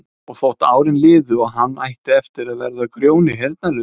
Og þótt árin liðu og hann ætti eftir að verða Grjóni heyrnarlausi